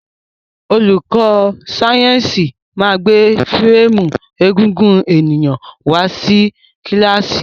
Olùkó sáyẹ́nsì ma gbé férémù egungun èyàn wá sí kílàsì.